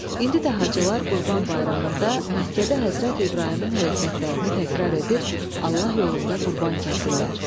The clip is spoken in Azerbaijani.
İndi də Hacılar Qurban Bayramında Məkkədə Həzrəti İbrahimin hərəkətlərini təkrar edir, Allah yolunda qurban kəsirlər.